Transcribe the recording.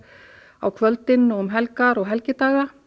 á kvöldin og um helgar og helgidaga